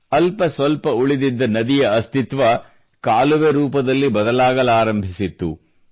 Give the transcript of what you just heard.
ಅಲ್ಪ ಸ್ವಲ್ಪ ಉಳಿದಿದ್ದ ನದಿಯ ಅಸ್ತಿತ್ವ ಕಾಲುವೆ ರೂಪದಲ್ಲಿ ಬದಲಾಗಲಾರಂಭಿಸಿತ್ತು